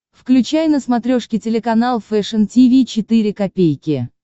включай на смотрешке телеканал фэшн ти ви четыре ка